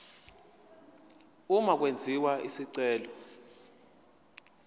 uma kwenziwa isicelo